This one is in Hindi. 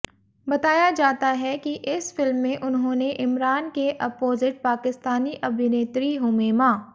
बताया जाता है कि इस फिल्म में उन्होंने इमरान के अपोजिट पाकिस्तानी अभिनेत्री हुमैमा